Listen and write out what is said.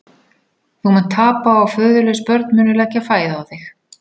Þú munt tapa og föðurlaus börn munu leggja fæð á þig.